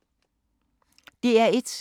DR1